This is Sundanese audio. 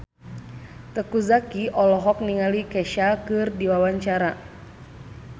Teuku Zacky olohok ningali Kesha keur diwawancara